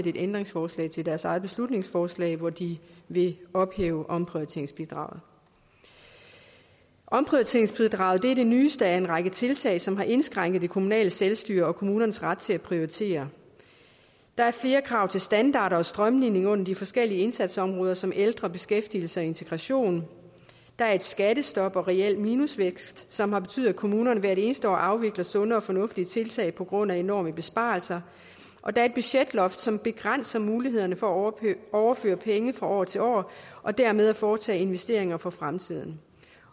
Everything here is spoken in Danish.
et ændringsforslag til deres eget beslutningsforslag hvor de vil ophæve omprioriteringsbidraget omprioriteringsbidraget er det nyeste af en række tiltag som har indskrænket det kommunale selvstyre og kommunernes ret til at prioritere der er flere krav til standarder og strømlining under de forskellige indsatsområder som ældre beskæftigelse og integration der er et skattestop og reel minusvækst som har betydet at kommunerne hvert eneste år afvikler sunde og fornuftige tiltag på grund af enorme besparelser og der er et budgetloft som begrænser mulighederne for at overføre penge fra år til år og dermed foretage investeringer for fremtiden